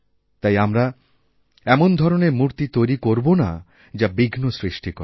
তাই আমরা এমন ধরণের মূর্তি তৈরি করব না যাবিঘ্ন সৃষ্টি করে